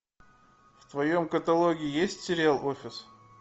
в твоем каталоге есть сериал офис